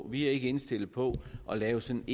vi ikke indstillet på at lave sådan